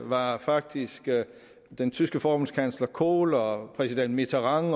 var faktisk den tyske forbundskansler kohl og præsident mitterand